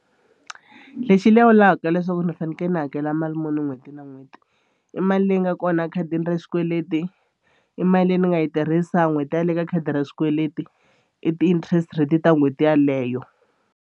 Lexi lawulaka leswaku ni fanekele ni hakela mali muni n'hweti na n'hweti i mali leyi nga kona khadini ra xikweleti i mali leyi ni nga yi tirhisa n'hweti yaleyo ka khadi ra swikweleti i ti-interest rate ta n'hweti yeleyo.